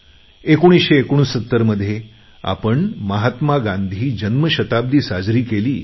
1969 मध्ये आपण महात्मा गांधी जन्मशताब्दी साजरी केली